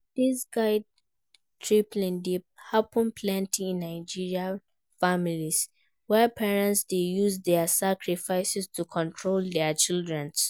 Dis guilt-tripping dey happen plenty in Nigerian families where parents dey use dia sacrifices to control dia children.